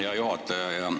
Hea juhataja!